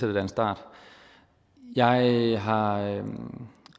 det da en start jeg har